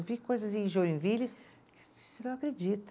Eu vi coisas em Joinville que você não acredita.